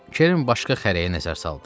Kerrin başqa xərəyə nəzər saldı.